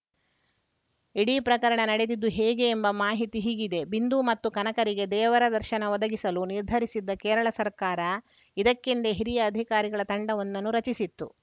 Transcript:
ಇಡೀ ಪ್ರಕರಣ ನಡೆದಿದ್ದು ಹೇಗೆ ಎಂಬ ಮಾಹಿತಿ ಹೀಗಿದೆ ಬಿಂದು ಮತ್ತು ಕನಕರಿಗೆ ದೇವರ ದರ್ಶನ ಒದಗಿಸಲು ನಿರ್ಧರಿಸಿದ್ದ ಕೇರಳ ಸರ್ಕಾರ ಇದಕ್ಕೆಂದೇ ಹಿರಿಯ ಅಧಿಕಾರಿಗಳ ತಂಡವೊಂದನ್ನು ರಚಿಸಿತ್ತು